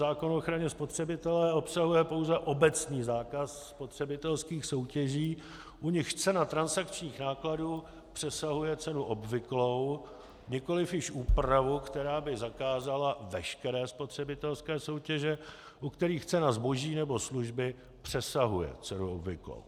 Zákon o ochraně spotřebitele obsahuje pouze obecný zákaz spotřebitelských soutěží, u nichž cena transakčních nákladů přesahuje cenu obvyklou, nikoliv již úpravu, která by zakázala veškeré spotřebitelské soutěže, u kterých cena zboží nebo služby přesahuje cenu obvyklou.